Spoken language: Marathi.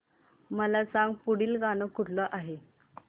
मला सांग पुढील गाणं कुठलं आहे